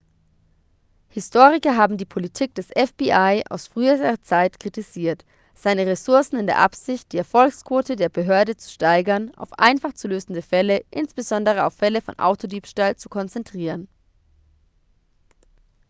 historiker haben die politik des fbi aus früherer zeit kritisiert seine ressourcen in der absicht die erfolgsquote der behörde zu steigern auf einfach zu lösende fälle insbesondere auf fälle von autodiebstahl zu konzentrieren